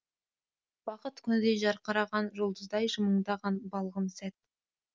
бақыт күндей жарқыраған жұлдыздай жымыңдаған балғын сәт